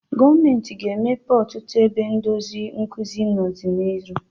Gọọmenti ga-emepe ọtụtụ ebe ndozi nkuzi n'ọdịnihu.